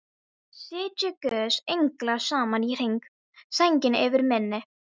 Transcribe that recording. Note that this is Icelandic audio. Sitji guðs englar saman í hring, sænginni yfir minni.